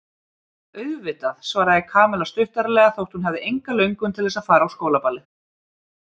Auðvitað svaraði Kamilla stuttaralega þótt hún hefði enga löngun til þess að fara á skólaballið.